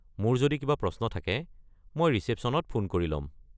মোৰ যদি কিবা প্ৰশ্ন থাকে, মই ৰিচেপশ্যনত ফোন কৰি ল'ম।